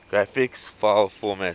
graphics file formats